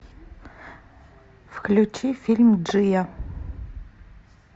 включи фильм джиа